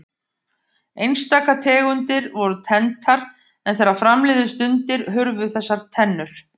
Einstaka tegundir voru tenntar en þegar fram liðu stundir hurfu þessar tennur.